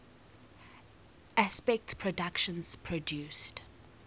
aspect productions produced